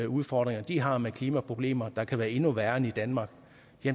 udfordringer de har med klimaproblemer der kan være endnu værre end i danmark